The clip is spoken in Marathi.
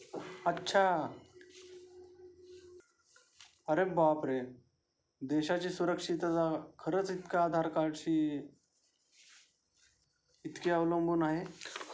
अच्छा अरे बापरे देशाचे सुरक्षतेचा खरंच इतका आधार कार्ड शी इतक्या अवलंबून आहे.